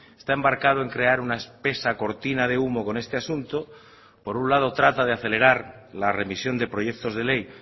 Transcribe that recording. está embarcado en crear una espesa cortina de humo con este asunto por un lado trata de acelerar la remisión de proyectos de ley